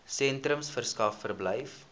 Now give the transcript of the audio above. sentrums verskaf verblyf